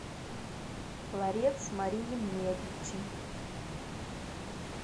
ларец марии медичи